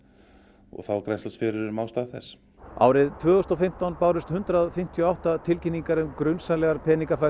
og þá er grennslast fyrir um ástæðu þess árið tvö þúsund og fimmtán bárust hundrað fimmtíu og átta tilkynningar um grunsamlegar